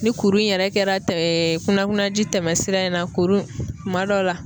Ni kuru in yɛrɛ kɛra kunnakunnaji tɛmɛ sira in na kuru kuma dɔw la